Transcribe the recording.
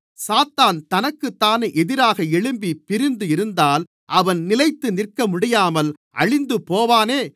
சாத்தான் தனக்குத்தானே எதிராக எழும்பிப் பிரிந்து இருந்தால் அவன் நிலைத்து நிற்கமுடியாமல் அழிந்துபோவானே